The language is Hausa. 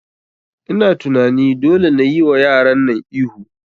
Ina tunani dole nayi wa yaran nan ihu